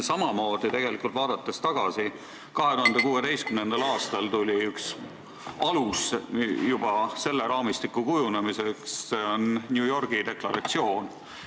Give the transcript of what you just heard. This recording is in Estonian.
Samamoodi tegelikult, vaadates tagasi, 2016. aastal tuli üks alus juba selle raamistiku kujundamiseks, see oli New Yorgi deklaratsioon.